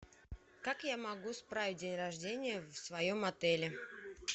как я могу справить день рождения в своем отеле